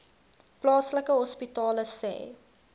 plaaslike hospitale sê